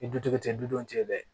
Ni dutigi tɛ du te yen dɛ